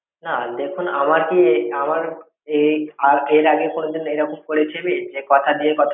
না দেখুন আমার কি এ আমার এ আ এর আগে কোনোদিন এরকম করেছি যে কথা দিয়ে কথা রাখিনি?